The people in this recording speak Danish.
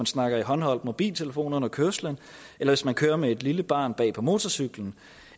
snakker i håndholdt mobiltelefon under kørslen kører med et lille barn bag på en motorcykel